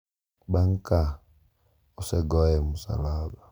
bang’ ka osegoye e musalaba.